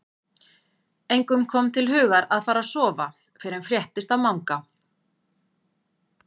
Engum kom til hugar að fara að sofa fyrr en fréttist af Manga.